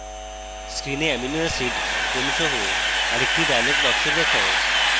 screen amino acid ক্রম সহ আরেকটি dialog box দেখায়